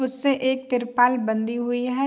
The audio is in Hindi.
उससे एक तिरपाल बंधी हुई हैं।